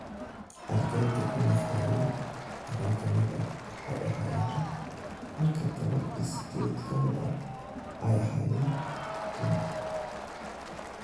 Ardeyda ku naf waayey tobaan ka mid ah waxay ahaayeen rag halka tobaan iyo sidheed ka mid ah ay ahaayeen dumar.